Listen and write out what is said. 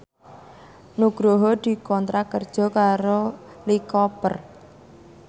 Nugroho dikontrak kerja karo Lee Cooper